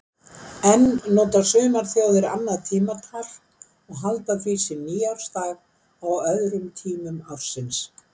Enn nota sumar þjóðir annað tímatal og halda því sinn nýársdag á öðrum tímum ársins.